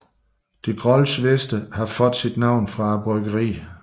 De Grolsch Veste har fået sit navn fra bryggeriet